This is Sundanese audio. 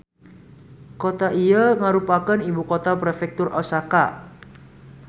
Kota ieu ngarupakeun ibukota Prefektur Osaka.